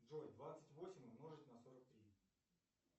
джой двадцать восемь умножить на сорок три